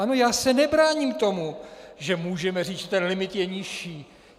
Ano, já se nebráním tomu, že můžeme říct, že ten limit je nižší.